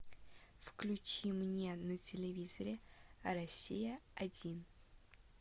включи мне на телевизоре россия один